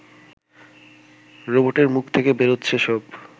রবোটের মুখ থেকে বেরোচ্ছে সব